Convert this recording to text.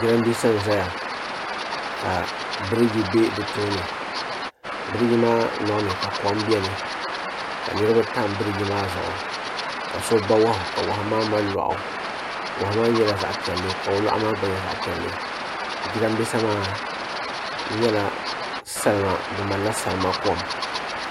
jiranbiisa n ʒɛya ka biriji bɛ di tooni biriji maa loŋni ka kom biɛni ka niraba tam biriji maa zuɣu ka so ba wahu ka wahu maa mali loɣu wahu maa nyɛla zaɣ piɛlli ka o loɣu maa gba nyɛ zaɣ piɛlli jiranbiisa maa ku nyɛla salima di malila salima kom